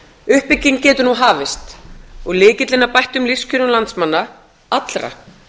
uppbygging getur nú hafist og lykillinn að bættum lífskjörum landsmanna allra